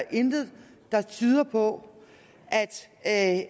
intet der tyder på at